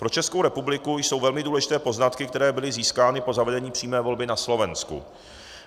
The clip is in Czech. Pro Českou republiku jsou velmi důležité poznatky, které byly získány po zavedení přímé volby na Slovensku.